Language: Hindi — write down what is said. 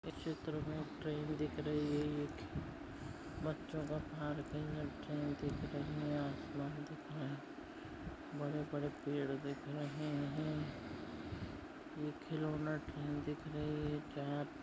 इस चित्र मे ट्रेन दिख रही है एक बच्चों का पार्किंग ट्रेन दिख रहा है आसमान दिख रहा है बड़े बड़े पेड़ दिख रहे है एक खिलौना ट्रेन दिख रही है। --